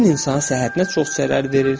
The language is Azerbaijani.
Tütün insanın səhhətinə çox zərər verir.